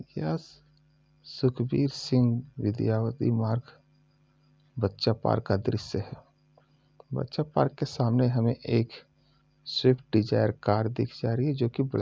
यह सुखवीर सिंह विद्यावती मार्ग बच्चा पार्क का दृश्य है बच्चा पार्क के सामने हमें एक स्विफ्ट डिजायर कार दिख जा रही हैजोकि ब्लैक --